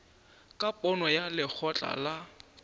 ka pono ya lekgotla la